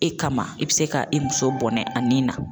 E kama i bi se ka i muso bɔnɛ a nin na